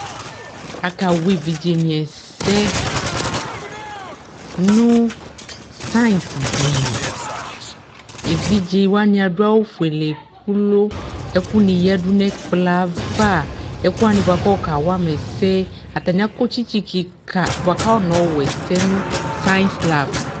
Akawa evidzedini ɛsɛ nu sansi dini evidzewani adu awu ofuele ku ɛkuni yadu nu ɛkplɔ yɛ ayava ɛkuwani ayɔ kawama ɛsɛ atani akɔ tsitsi kika buaku afɔnayɔ ɔwa ɛsɛ nu sansi slap